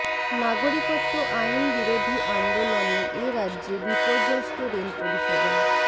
নাগরিকত্ব আইন বিরোধী আন্দোলনে এ রাজ্যে বিপর্যস্ত রেল পরিষেবা